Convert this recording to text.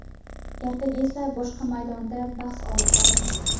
Ertaga esa boshqa maydonda bahs olib boramiz.